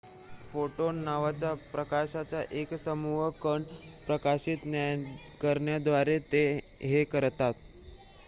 """Photon" नावाच्या प्रकाशाचा एक सूक्ष्म कण प्रकाशित करण्याद्वारे ते हे करतात.